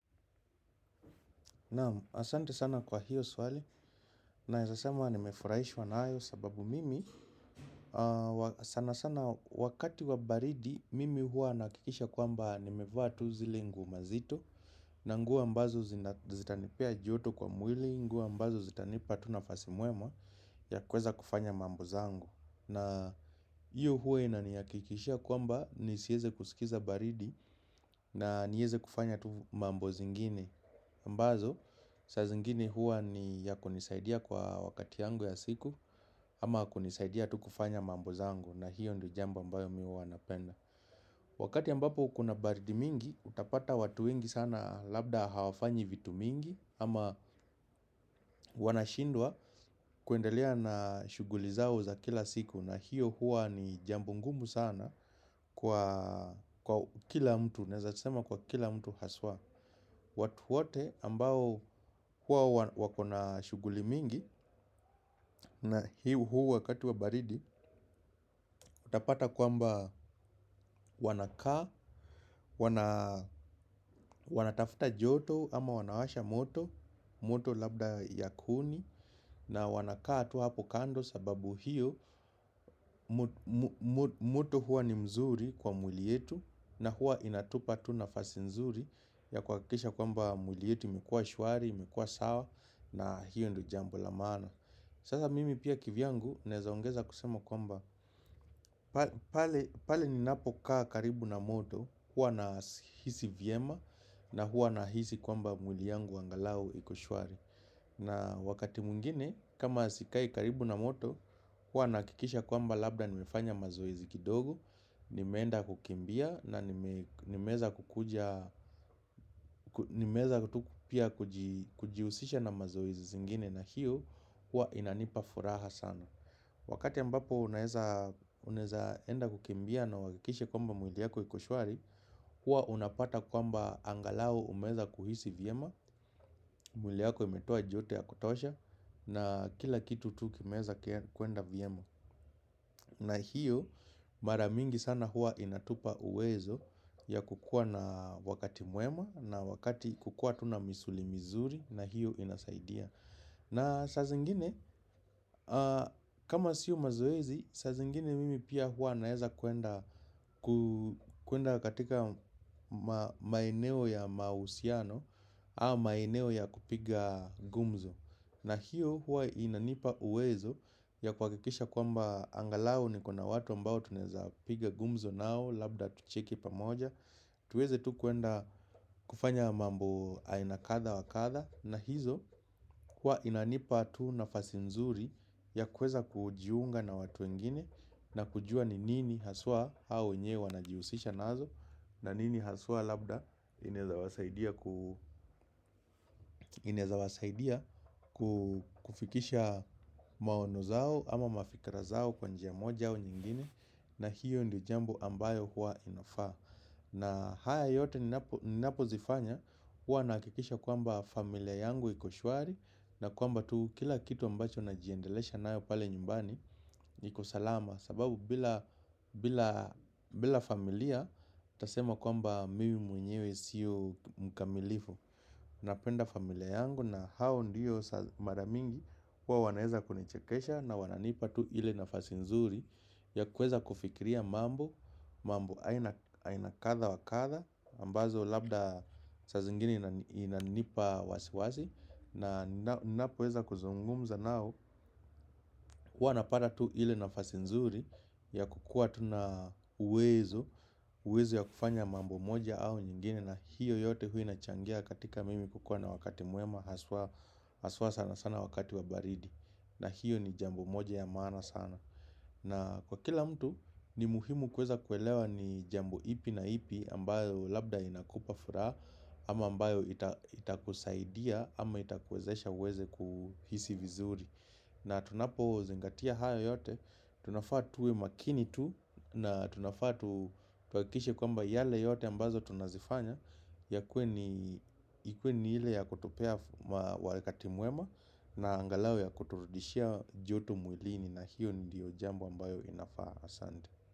Nam asante sana kwa hiyo swali naeza sema nimefurahishwa nayo sababu mimi sana sana wakati wa baridi mimi huwa nakikisha kwamba nimevaa tu zile nguo mazito na nguo ambazo zitanipea joto kwa mwili nguo ambazo zitanipa tu nafasi mwema ya kuweza kufanya mambo zangu. Na hiyo huwa inanihakikishia kwamba nisieze kusikiza baridi na nieze kufanya tu mambo zingine ambazo sa zingine huwa ni ya kunisaidia kwa wakati yangu ya siku. Ama kunisaidia tu kufanya mambo zangu na hiyo ndo jambo ambayo mi huwa napenda. Wakati ambapo kuna baridi mingi utapata watu wengi sana labda hawafanyi vitu mingi ama wanashindwa kuendelea na shuguli zao za kila siku. Na hiyo huwa ni jambo ngumu sana kwa kila mtu naeza sema kwa kila mtu haswa. Watu wote ambao huwa wako na shuguli mingi. Na hi huu wakati wa baridi. Utapata kwamba wanakaa. Wanatafuta joto ama wanawasha moto. Moto labda ya kuni na wanakaa tu hapo kando sababu hiyo moto huwa ni mzuri kwa mwili yetu na huwa inatupa tu nafasi nzuri ya kuhakikisha kwamba mwili yetu imekuwa shwari imekuwa sawa na hiyo ndo jambo la maana. Sasa mimi pia kivyangu naeza ongeza kusema kwamba pale ninapokaa karibu na moto huwa nahisi vyema na huwa nahisi kwamba mwili yangu angalau iko shwari. Na wakati mwingine kama sikai karibu na moto huwa nahakikisha kwamba labda nimefanya mazoezi kidogo nimeenda kukimbia na nimeweza kukuja, nimeweza tu pia kujihusisha na mazoezi zingine na hiyo huwa inanipa furaha sana. Wakati ambapo unaeza enda kukimbia na uhakikishe kwamba mwili yako iko shwari, huwa unapata kwamba angalau umeweza kuhisi vyema, mwili yako imetoa joto ya kutosha na kila kitu tu kimeweza kuenda vyema. Na hiyo maramingi sana huwa inatupa uwezo ya kukuwa na wakati mwema na wakati kukuwa tu na misuli mizuri na hiyo inasaidia. Na saa zingine kama sio mazoezi saa zingine mimi pia huwa naeza kuenda. Kuenda katika maeneo ya mahusiano au maeneo ya kupiga gumzo. Na hiyo huwa inanipa uwezo ya kuhakikisha kwamba angalau niko na watu ambao tunaeza piga gumzo nao labda tucheke pamoja. Tuweze tu kuenda kufanya mambo aina kadha wa kadha na hizo huwa inanipa tu nafasi nzuri ya kuweza kujiunga na watu wengine. Na kujua ni nini haswa hao wenyewa wanajihusisha nazo. Na nini haswa labda inaeza wasaidia kufikisha maono zao ama mafikra zao kwa njia moja au nyingine. Na hiyo ndo jambo ambayo huwa inafaa. Na haya yote ninapo zifanya huwa nahakikisha kwamba familia yangu iko shwari. Na kwamba tu kila kitu ambacho najiendelesha nayo pale nyumbani iko salama. Sababu bila familia nitasema kwamba mimi mwenyewe sio mkamilifu. Napenda familia yangu na hao ndio mara mingi huwa wanaeza kunichekesha na wananipa tu ile nafasi nzuri ya kuweza kufikiria mambo. Mambo aina kadha wa kadha ambazo labda saa zingine inanipa wasi wasi. Na napoweza kuzungumza nao. Huwa napata tu ile nafasi nzuri ya kukuwa tu na uwezo ya kufanya mambo moja au nyingine na hiyo yote huwa inachangia katika mimi kukuwa na wakati mwema haswa sana wakati wa baridi na hiyo ni jambo moja ya maana sana na kwa kila mtu ni muhimu kuweza kuelewa ni jambo ipi na ipi ambayo labda inakupa furaha ama ambayo itakusaidia ama itakuwezesha uweze kuhisi vizuri. Na tunapozingatia haya yote, tunafaa tuwe makini tu na tunafaa tuhakikishe kwamba yale yote ambazo tunazifanya yakuwe ni, ikuwe ni ile ya kutupea wakati mwema na angalau ya kuturudishia joto mwilini na hiyo ndiyo jambo ambayo inafaa asante.